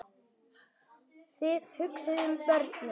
Þið hugsið um börnin.